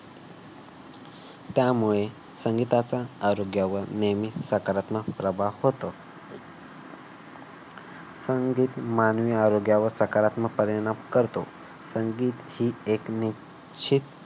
त्यामुळे संगीताचा आरोग्यावर नेहमी सकारात्मक प्रभाव होतो. संगीत मानवी आरोग्यावर सकारात्मक परिणाम करतो. संगीत ही एक निश्चित